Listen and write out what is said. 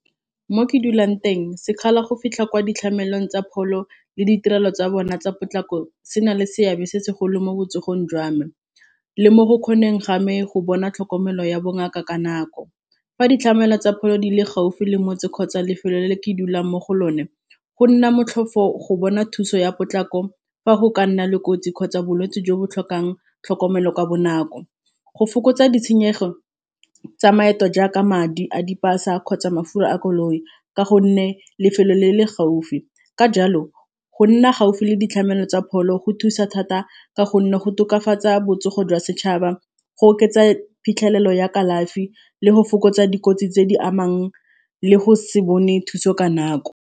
Mo ke dulang teng sekgala go fitlha kwa ditlhamelong tsa pholo le ditirelo tsa bone tsa potlako se na le seabe se segolo mo botsogong jwa me, le mo go kgoneng game go bona tlhokomelo ya bongaka ka nako fa ditlamelo tsa pholo di le gaufi le motse kgotsa lefelo le ke dulang mo go lone go nna motlhofo go bona thuso ya potlako fa go ka nna le kotsi kgotsa bolwetsi jo bo tlhokang tlhokomelo ka bonako, go fokotsa ditshenyegelo tsa maeto jaaka madi a dipasa kgotsa mafelo a koloi ka gonne lefelo le le gaufi ka jalo go nna gaufi le ditlamelo tsa pholo go thusa thata ka gonne go tokafatsa botsogo jwa setšhaba go oketsa phitlhelelo ya kalafi le go fokotsa dikotsi tse di amang le go se bone thuso ka nako.